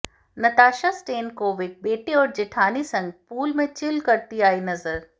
Natasha Stankovic बेटे और जेठानी संग पूल में चिल करती आईं नजर